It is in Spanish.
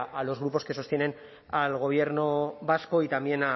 a los grupos que sostienen al gobierno vasco y también